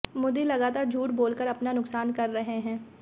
मोदी लगातार झूठ बोलकर अपना नुकसान कर रहे हैं